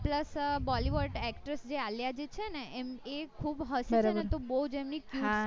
plus bollywood actress જે આલિયા જી છેને એ ખુબ બુજ એમને